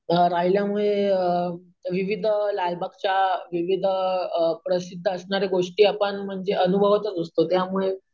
अम राहिल्यामुळे अम विविध लालबागच्या विविध अम प्रसिद्ध असणाऱ्या गोष्टी आपण म्हणजे अनुभवतच असतो त्यामुळे